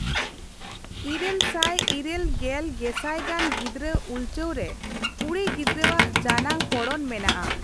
ᱤᱨᱟᱹᱞ ᱥᱟᱭ ᱤᱨᱟᱹᱞ ᱜᱮᱞ ᱜᱮᱥᱟᱭ ᱜᱟᱱ ᱜᱤᱽᱫᱨᱟᱹ ᱩᱞᱴᱟᱹᱣ ᱨᱮ ᱠᱚᱲᱤ ᱜᱤᱫᱽᱨᱟᱹ ᱟᱜ ᱡᱟᱱᱟᱝ ᱯᱚᱲᱚᱱ ᱢᱮᱱᱟᱜ ᱟ ᱾